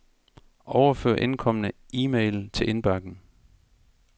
Overfør indkomne e-mail til indbakken.